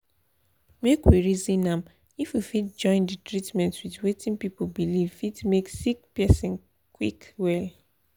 make we reason am — if we fit join the treatment with wetin people believe fit make sick person quick well.